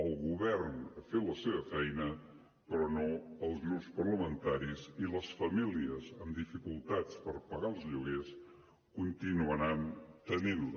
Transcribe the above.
el govern ha fet la seva feina però no els grups parlamentaris i les famílies amb dificultats per pagar els lloguers continuaran tenint les